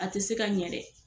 A te se ka ɲɛ dɛ